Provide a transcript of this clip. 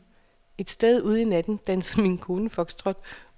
Et sted ude i natten dansede min kone foxtrot.